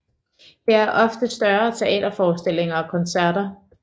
Her er ofte større teaterforestillinger og koncerter